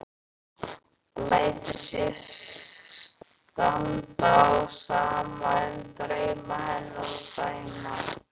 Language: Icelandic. Lætur sér standa á sama um drauma hennar og Sæma.